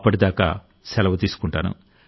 అప్పటిదాకా సెలవు తీసుకుంటాను